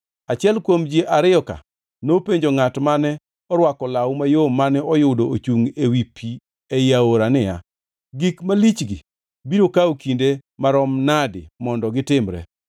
Achiel kuom ji ariyo-ka nopenjo ngʼat mane orwako law mayom mane oyudo ochungʼ ewi pi ei aora niya, “Gik malichgi biro kawo kinde marom nadi mondo gitimre?”